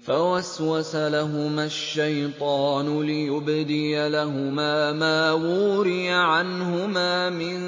فَوَسْوَسَ لَهُمَا الشَّيْطَانُ لِيُبْدِيَ لَهُمَا مَا وُورِيَ عَنْهُمَا مِن